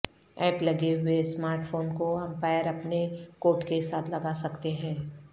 app لگے ہوئے smart phone کو امپائر اپنے کوٹ کے ساتھ لگا سکتے ہیں